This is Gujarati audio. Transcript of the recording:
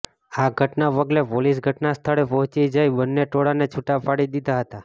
આ ઘટનાના પગલે પોલીસ ઘટના સ્થળે પહોંચી જઇ બન્ને ટોળાને છૂટા પાડી દીધા હતા